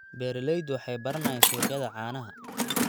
Beeraleydu waxay baranayaan suuqyada caanaha.